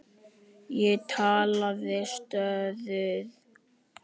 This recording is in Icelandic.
Ég talaði stöðugt um hann.